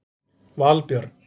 Valbjörn